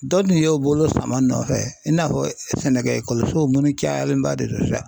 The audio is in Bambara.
Dɔ tun y'o bolo sama n nɔfɛ i n'a fɔ sɛnɛkɛ sow munnu cayalenba de do sa.